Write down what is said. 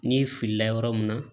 N'i filila yɔrɔ mun na